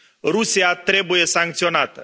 Rusia trebuie sancționată.